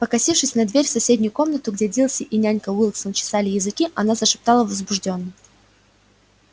покосившись на дверь в соседнюю комнату где дилси и нянька уилксов чесали языки она зашептала возбуждённо